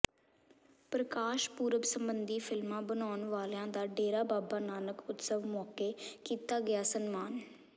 ਪ੍ਰਕਾਸ਼ ਪੁਰਬ ਸੰਬੰਧੀ ਫ਼ਿਲਮਾਂ ਬਨਾਉਣ ਵਾਲਿਆਂ ਦਾ ਡੇਰਾ ਬਾਬਾ ਨਾਨਕ ਉਤਸਵ ਮੌਕੇ ਕੀਤਾ ਗਿਆ ਸਨਮਾਨ